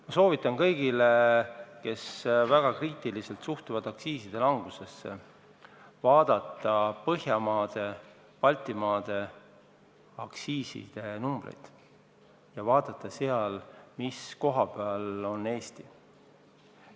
Ma soovitan kõigil, kes väga kriitiliselt suhtuvad aktsiiside langusesse, vaadata Põhjamaade ja teiste Baltimaade aktsiiside numbreid ja vaadata, mis koha peal on Eesti.